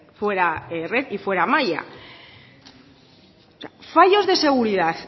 fuera red y fuera malla fallos de seguridad